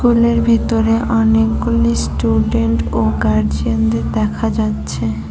স্কুলের ভিতরে অনেকগুলি স্টুডেন্ট ও গার্জিয়ানদের দেখা যাচ্ছে।